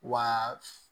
Wa